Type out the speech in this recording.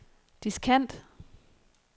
diskant